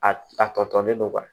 A a tɔ tɔlen don